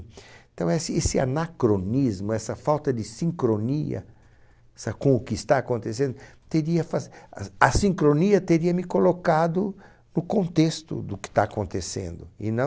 Então, esse esse anacronismo, essa falta de sincronia com o que está acontecendo, teria sido, a sincronia teria me colocado no contexto do que está acontecendo e não...